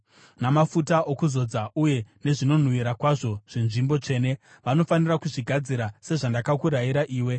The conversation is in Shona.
namafuta okuzodza uye nezvinonhuhwira kwazvo zveNzvimbo Tsvene. “Vanofanira kudzigadzira sezvandakakurayira iwe.”